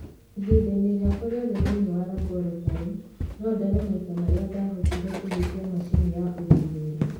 Ihinda-inĩ rĩakwa rĩothe thĩinĩ wa laborotarĩ, no ndare maita marĩa ndaahotire kũhutia macini ya ũthuthuria.